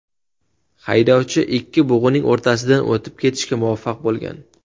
Haydovchi ikki bug‘uning o‘rtasidan o‘tib ketishga muvaffaq bo‘lgan.